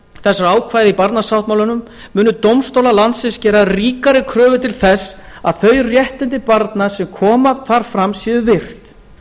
ákvæða í barnasáttmálanum munu dómstólar landsins gera ríkari kröfur til þess að þau réttindi barna sem koma þar fram séu virt